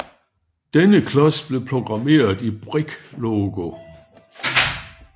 Denne klods blev programmeret i Brick Logo